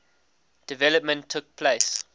development took place